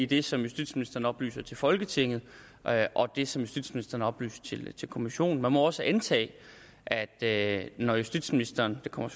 det som justitsministeren oplyser til folketinget og det som justitsministeren oplyser til til kommissionen man må også antage at at når justitsministeren det kommer